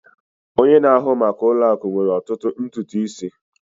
Onye na-ahụ maka ụlọ akụ nwere ototu ntutu isi